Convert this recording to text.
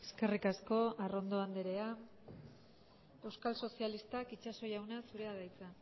eskerrik asko arrondo andrea euskal sozialistak itxaso jauna zurea da hitza